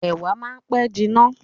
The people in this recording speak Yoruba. Ẹ̀wà máa ń pẹ́ jiná.